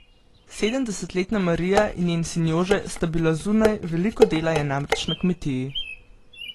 Sedemdesetletna Marija in njen sin Jože sta bila zunaj, veliko dela je namreč na kmetiji.